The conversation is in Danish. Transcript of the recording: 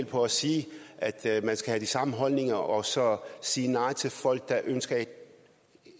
på at sige at man skal have de samme holdninger og så at sige nej til folk der ønsker